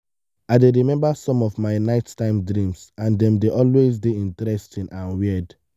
i dey remember some of my nighttime dreams and dem dey always dey interesting and weird.